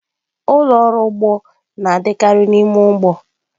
Ụlọ ọrụ ugbo na-adịkarị n'ime ugbo.